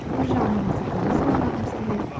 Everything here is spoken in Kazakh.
бір жағынан мақсатымызды орындағымыз келеді